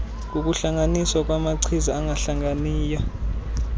ngokuhlanganiswa kwamachiza angahlanganiyo